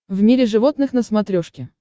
в мире животных на смотрешке